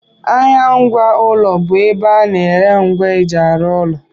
Ahịa ngwa ụlọ bụ ebe a na-ere ngwa eji arụ ụlọ